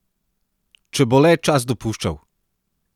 Če bo le čas dopuščal!